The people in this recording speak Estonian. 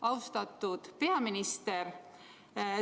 Austatud peaminister!